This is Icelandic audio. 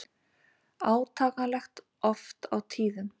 Átakanlegt oft á tíðum.